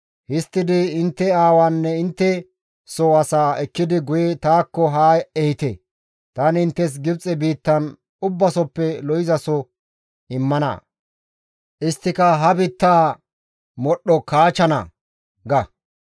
Histtidi intte aawaanne intte soo asaa ekkidi guye taakko haa ehite. Tani inttes Gibxe biittan ubbasoppe lo7izaso immana; isttika ha biittaa modhdho kaachana› ga.